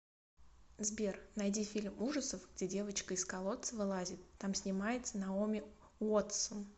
сбер найди фильм ужасов где девочка из колодца вылазит там снимается наоми уотсон